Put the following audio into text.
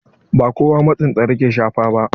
Ba kowa matsin tsara ke shafa ba.